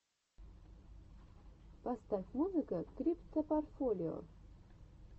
поставь музыка криптопортфолио